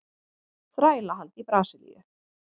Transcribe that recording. Þrælahald í Brasilíu.